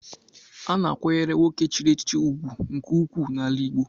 A na-akwanyere nwoke chiri echichi ugwu nke ukwuu n'ala Igbo.